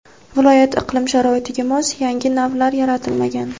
viloyat iqlim sharoitiga mos yangi navlar yaratilmagan.